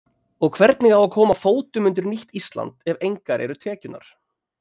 Og hvernig á að koma fótum undir nýtt Ísland ef engar eru tekjurnar?